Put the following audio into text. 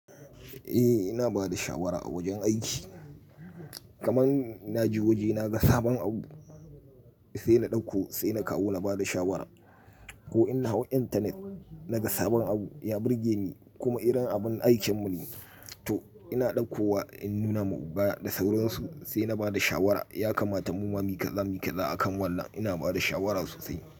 Eh ina bada shawara a wajen aiki kaman naje waje naga sabon abu sai na ɗauko sai na kawo na bada shawara ko ina hau internet naga sabon abu ya burge ni kuma irin abun aikinmu ne to ina ɗauko wa in nuna ma oga da sauransu sai na bada shawara ya kamata mu ma mi kaza mi kaza a kan walla ina bada shawara sosai.